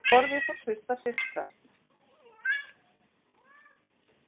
Borðið fór fyrst að hristast